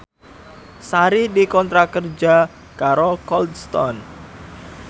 Sari dikontrak kerja karo Cold Stone